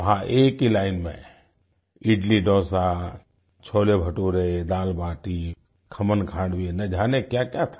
वहां एक ही लाइन में इडलीडोसा छोलेभटूरे दालबाटी खमनखांडवी ना जाने क्याक्या था